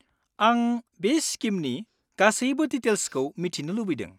आं बे स्किमनि गासैबो डिटेइल्सखौ मिथिनो लुबैदों।